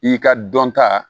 I ka dɔnta